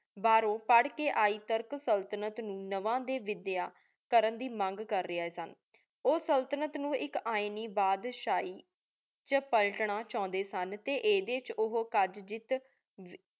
ਬਾਹਰੋਂ ਪਢ਼ ਕੀ ਆਏ ਤੁਰਕ ਸੁਲ੍ਤ੍ਨਤ ਨੂ ਨਵਾਂ ਵਿਦ੍ਯਾ ਕਰਨ ਦੇ ਮੰਗ ਕਰ ਰਿਯ ਓਹ ਸੁਲ੍ਤ੍ਨਤ ਨੂ ਇਕ ਐਨੀ ਬਾਦਸ਼ਾਹੀ ਵਿਚ ਪਲਟਨਾ ਚਾਹੁੰਦੇ ਸਨ ਟੀ ਇਦੇ ਵਿਚ ਓਹੋ